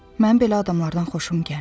Mən belə adamlardan xoşum gəlmir.